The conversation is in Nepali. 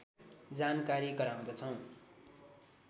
जानकारी गराउँदछौँ